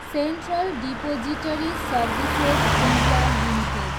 central depository services, India, limited